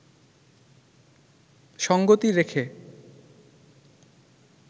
সঙ্গতি রেখে